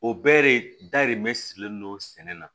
O bɛɛ de dayirimɛ sirilen don sɛnɛ na